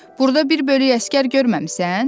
Burda bir bölük əsgər görməmisən?